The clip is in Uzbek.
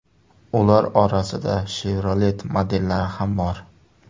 Ular orasida Chevrolet modellari ham bor.